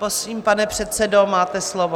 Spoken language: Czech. Prosím, pane předsedo, máte slovo.